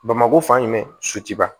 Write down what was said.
Bamakɔ fan jumɛn sutuba